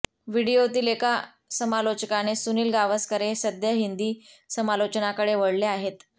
व्हिडिओतील एका समालोचकाने सुनील गावस्कर हे सध्या हिंदी समालोचनाकडे वळले आहेत